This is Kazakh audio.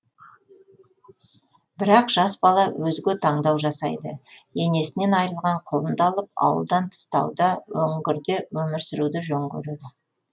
бірақ жас бала өзге таңдау жасайды енесінен айырылған құлынды алып ауылдан тыс тауда үңгірде өмір сүруді жөн көреді